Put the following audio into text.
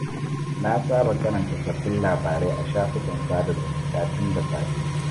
Na saba karanta sabbin labarai a shafukan sada zumunta tun da safe.